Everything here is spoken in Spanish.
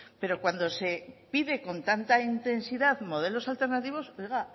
pero cuando se pide con tanta intensidad modelos alternativos oiga